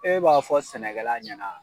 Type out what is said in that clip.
E b'a fɔ sɛnɛkɛla ɲɛna